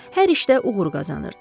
Hər işdə uğur qazanırdı.